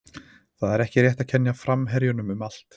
Það er ekki rétt að kenna framherjunum um allt.